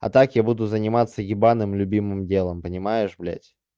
а так я буду заниматься ебаным любимым делом понимаешь блядь